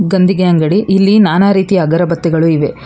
ಗಂದಗಿ ಅಂಗಡಿ ಇಲ್ಲಿ ನಾನಾ ರೀತಿಯ ಅಗರಬತ್ತಿಗಳು ಇವೆ.